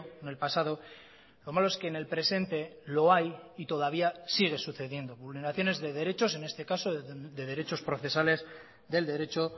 en el pasado lo malo es que en el presente lo hay y todavía sigue sucediendo vulneraciones de derechos en este caso de derechos procesales del derecho